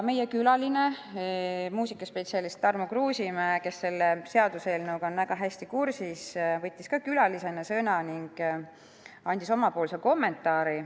Meie külaline, muusikaspetsialist Tarmo Kruusimäe, kes on selle seaduseelnõuga väga hästi kursis, võttis samuti sõna ning andis oma kommentaari.